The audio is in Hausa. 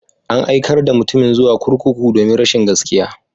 An aikar da mutumin zuwa kurkuku domin rashin gaskiya.